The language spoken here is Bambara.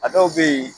A dɔw bɛ yen